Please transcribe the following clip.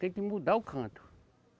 Tem que mudar o canto.